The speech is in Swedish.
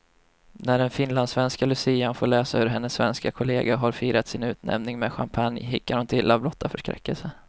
När den finlandssvenska lucian får läsa hur hennes svenska kollega har firat sin utnämning med champagne hickar hon till av blotta förskräckelsen.